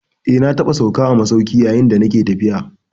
Eh, na taɓa sauka a masauki yayin da nake tafiya.